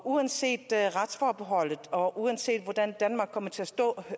uanset retsforbeholdet og uanset hvordan danmark kommer til at stå